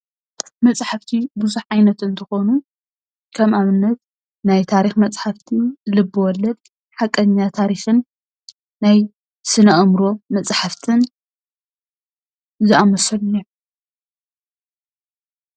መፃሕፋቲ ብዙሕ ዓይነት እንትኾኑ ከም ኣብነት ናይታሪክ መፃሕፍቲ ፣ልብወለድ ፣ሓቀኛ ታሪክን ፣ናይ ስነ ኣእምሮ መፃሕፍትን ዝኣመሰሉን እዮም ።